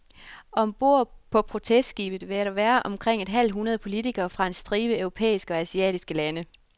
Om bord på protestskibet vil der være omkring et halvt hundrede politikere fra en stribe europæiske og asiatiske lande.